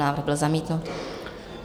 Návrh byl zamítnut.